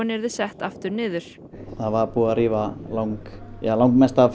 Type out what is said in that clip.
yrðu sett aftur niður það var búið að rífa lang lang mest af